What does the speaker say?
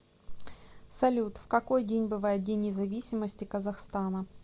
салют в какой день бывает день независимости казахстана